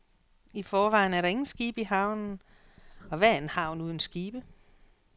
I forvejen er der ingen skibe i havnen, og hvad er en havn uden skibe?